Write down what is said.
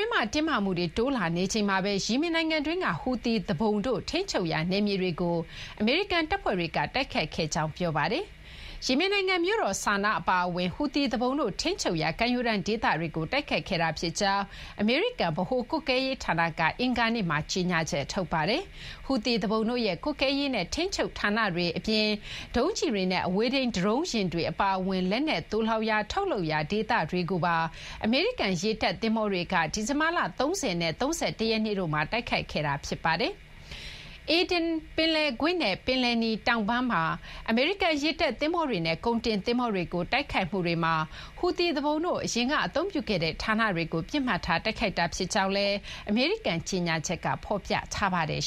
င်းမှာ တင်းမာမှုတွေ တိုးလာနေချိန်မှာဘဲ ယီမင်နိုင်ငံတွင်းက ဟူသီ သူပုန်တို့ ထိန်းချုပ်ရာ နယ်မြေတွေကို အမေရိကန် တပ်ဖွဲ့တွေက တိုက်ခိုက်ခဲ့ကြောင်း ပြောပါတယ်။ ယီမင်နိုင်ငံ မြို့တော် ဆာနား အပါအဝင် ဟူသီ သူပုန်တို့ ထိန်းချုပ်ရာ ကမ်းရိုးတန်း ဒေသတွေကို တိုက်ခိုက်ခဲ့တာ ဖြစ်ကြောင်း အမေရိကန် ဗဟို ကွပ်ကဲရေး ဌာနက အင်္ဂါနေ့မှာ ကြေညာချက် ထုတ်ပါတယ်။ ဟူသီ သူပုန်တို့ရဲ့ ကွပ်ကဲရေးနဲ့ ထိန်းချုပ် ဌာနတွေ အပြင် ဒုံးကျည်တွေနဲ့ အဝေးထိန်း ဒရုန်းယာဉ်တွေ အပါအဝင် လက်နက် သိုလှောင်ရာ ထုတ်လုပ်ရာ ဒေသတွေကိုပါ အမေရိကန် ရေတပ် သင်္ဘောတွေက ဒီဇင်ဘာလ ၃၀ နဲ့ ၃၁ ရက်နေ့တို့မှာ တိုက်ခိုက်ခဲ့တာ ဖြစ်ပါတယ်။ Aden ပင်လယ်ကွေ့နဲ့ ပင်လယ်နီ တောင်ပိုင်းမှာ အမေရိကန် ရေတပ် သဘောၤတွေနဲ့ ကုန်တင် သင်္ဘောတွေကို တိုက်ခိုက်မှုတွေမှာ ဟူသီ သူပုန်တို့ အရင်က အသုံးပြုခဲ့တဲ့ ဌာနတွေကို ပစ်မှတ်ထား တိုက်ခိုက်တာ ဖြစ်ကြောင်းလည်း အမေရိကန် ကြေညာချက်က ဖော်ပြပါတယ်